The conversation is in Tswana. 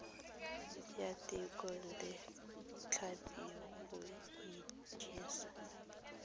ya thekontle tlhapi go ijesa